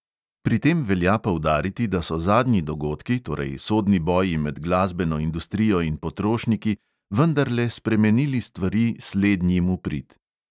Pri tem velja poudariti, da so zadnji dogodki, torej sodni boji med glasbeno industrijo in potrošniki, vendarle spremenili stvari slednjim v prid.